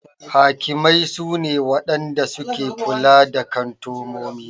Hakimai su ne Wadanda suke kula da kantumomi.